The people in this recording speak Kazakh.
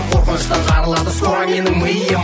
қорқыныштан жарылады скоро менің миым